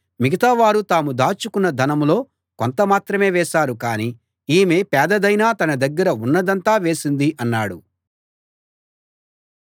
మిగతావారు తాము దాచుకున్న ధనంలో కొంత మాత్రమే వేశారు కాని ఈమె పేదదైనా తన దగ్గర ఉన్నదంతా వేసింది అన్నాడు